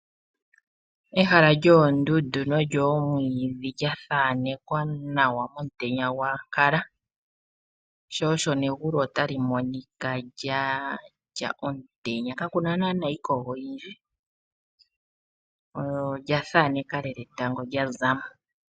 Ehala lyoondundu nolyoomwiidhi lya thanekwa nawa momutenya gwa ankala sho osho negulu otali monika lya lya omutenya kakuna nana iikogo oyindji olya thaneka lela etango lya zamo.